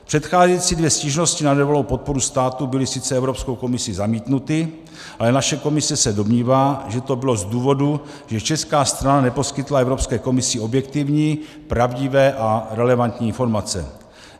Předcházející dvě stížnosti na nedovolenou podporu státu byly sice Evropskou komisí zamítnuty, ale naše komise se domnívá, že to bylo z důvodu, že česká strana neposkytla Evropské komisi objektivní, pravdivé a relevantní informace.